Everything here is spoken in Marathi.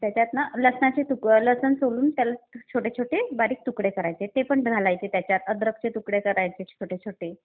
त्याच्यात ना लसणाची... लसूण सोलून त्याला छोटे छोटे बारीक तुकडे करायचे. ते पण घालायचे त्याच्यात. अद्रकचे तुकडे करायचे छोटे छोटे.